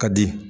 Ka di